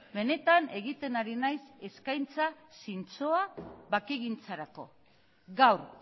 benetan egiten ari naiz eskaintza zintzoa bakegintzarako gaur